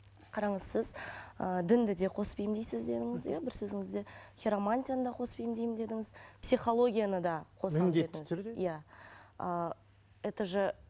қараңыз сіз ыыы дінді де қосып емдейсіз дедіңіз иә бір сөзіңізде хиромантияны да қосып емдеймін дедіңіз психологияны да түрде иә ы это же